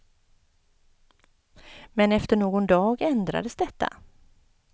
Men efter någon dag ändrades detta.